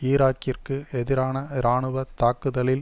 ஈராக்கிற்கு எதிரான இராணுவ தாக்குதலில்